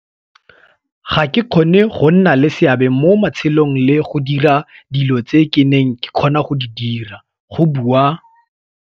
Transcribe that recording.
Ga ke kgone go nna le seabe mo metshamekong le go dira dilo tse ke neng ke kgona go di dira, go bua.